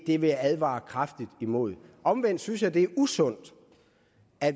det vil jeg advare kraftigt imod omvendt synes jeg det er usundt